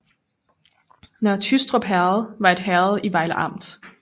Nørre Tyrstrup Herred var et herred i Vejle Amt